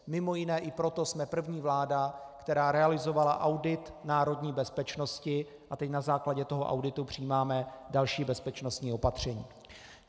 Mimo jiné i proto jsme první vláda, která realizovala audit národní bezpečnosti, a teď na základě toho auditu přijímáme další bezpečností opatření.